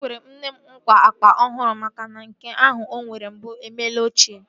Ekwere m nne m nkwa akpa ọhụrụ makana nke ahụ o nwere mbụ emela ochie